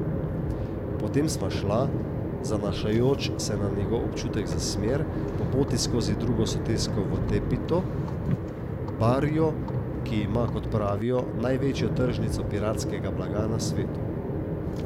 Potem sva šla, zanašajoč se na njegov občutek za smer, po poti skozi drugo sosesko v Tepito, barrio, ki ima, kot pravijo, največjo tržnico piratskega blaga na svetu.